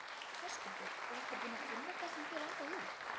Höskuldur: Og ertu búinn að finna það sem þig langaði í?